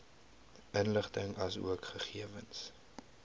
inligting asook gegewens